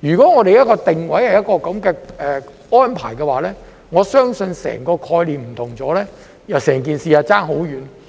如果定位是這樣的安排，我相信整個概念便大為不同，整件事便相差很遠。